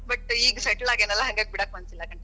But ಈಗ settle ಆಗೇನಲ್ಲಾ ಹಂಗಾಗ್ ಬಿಡಾಕ ಮನಸ್ಸಿಲ್ಲಾ continue ಮಾಡತೇನಿ.